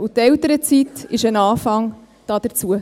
Die Elternzeit ist ein Anfang dazu.